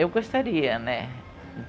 Eu gostaria, né?